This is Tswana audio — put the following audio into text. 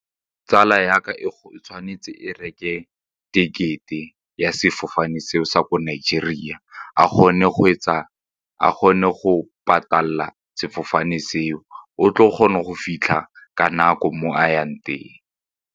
Tsala ya ka e tshwanetse e reke tekete ya sefofane seo sa ko Nigeria, a kgone a kgone go patala sefofane seo a tle o kgone go fitlha ka nako moo a yang teng.